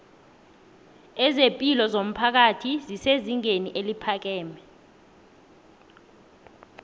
ezepilo zomphakathi zesezingeni eliphakeme